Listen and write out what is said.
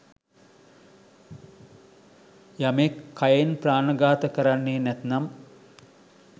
යමෙක් කයෙන් ප්‍රාණඝාත කරන්නෙ නැත්නම්